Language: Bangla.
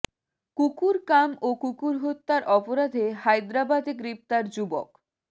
কুকুর কাম ও কুকুর হত্যার অপরাধে হায়েদরাবাদে গ্রেফতার যুবক